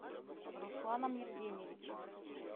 русланом евгеньевичем